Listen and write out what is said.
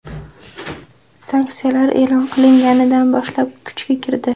Sanksiyalar e’lon qilinganidan boshlab kuchga kirdi.